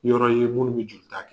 Yɔrɔ i n ye don bɛ joli ta kɛ.